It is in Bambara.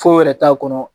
Foyi yɛrɛ t'a kɔnɔ